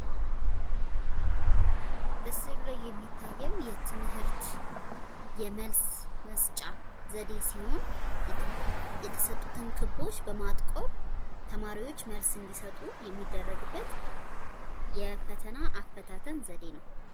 ምስሉ ላይ የሚታየው የትምህርት የመልስ መስጫ ዘደ ሲሆን የተሰጡትን ክቦች በማጥቆር ተማሪዎች መልስ እንድሰጡ ነሚደረግበት የፈተና አፈታትን ዘደ ነው።